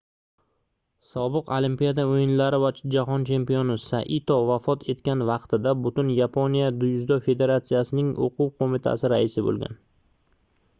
sobiq olimpiada oʻyinlari va jahon chempioni saito vafot etgan vaqtida butun yaponiya dzyudo federatsiyasining oʻquv qoʻmitasi raisi boʻlgan